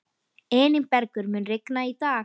Elínbergur, mun rigna í dag?